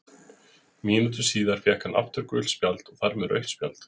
Mínútu síðar fékk hann aftur gult spjald og þar með rautt spjald.